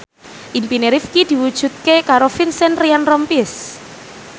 impine Rifqi diwujudke karo Vincent Ryan Rompies